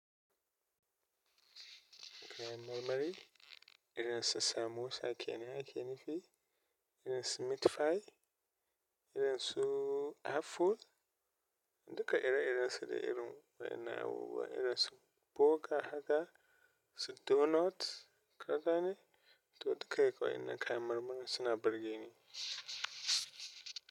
Kayan marmari, irin su samosa kenan ake nufi, irin su meat pie, irin su Apple, duka ire-iren su da irin waɗannan abubuwa, irin su burger haka, su donut, kada ne? To duka-duka wa'innan kayan marmarin suna burge ni.